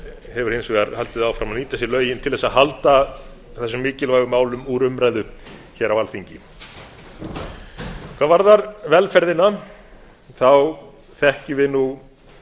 hefur hins vegar haldið áfram að nýta sér lögin til að halda þessum mikilvægu málum úr umræðu hér á alþingi hvað varðar velferðina þekkjum við nú